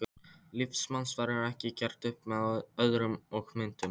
Líf manns verður ekki gert upp með orðum og myndum.